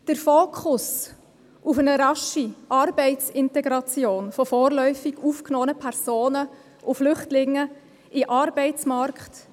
Der Fokus liegt bei einer raschen Arbeitsintegration von vorläufig aufgenommenen Personen und Flüchtlingen in den Arbeitsmarkt.